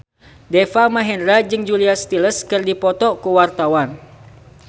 Deva Mahendra jeung Julia Stiles keur dipoto ku wartawan